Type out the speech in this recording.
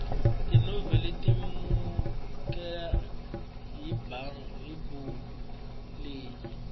tinoveli tikumeka ekabhuku leyi